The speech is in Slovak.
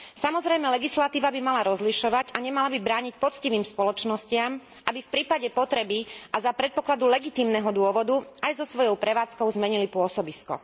Samozrejme, legislatíva by mala rozlišovať a nemala by brániť poctivým spoločnostiam, aby v prípade potreby a za predpokladu legitímneho dôvodu aj so svojou prevádzkou zmenili pôsobisko.